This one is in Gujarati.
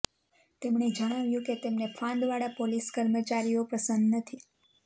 તેમણે જણાવ્યું કે તેમને ફાંદવાડા પોલીસ કર્મચારીઓ પસંદ નથી